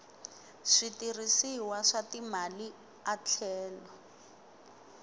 switirhisiwa swa timali a tlhela